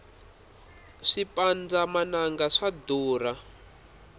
swipandza mananga swa durha